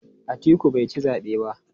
Atiku bai ci zabe ba.